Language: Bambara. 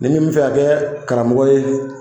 Ni min bɛ fɛ ka kɛ karamɔgɔ ye